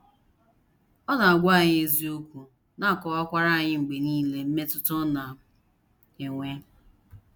Ọ na - agwa anyị eziokwu, na - akọkwara anyị mgbe nile mmetụta ọ na -- enwe.